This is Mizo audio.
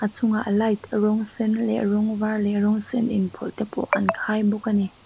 a chungah light rawng sen leh rawng var leh rawng sen inpawlh te pawh an khai bawk a ni.